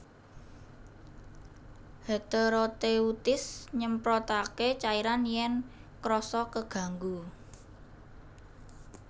Heteroteuthis nyemprotaké cairan yèn krasa keganggu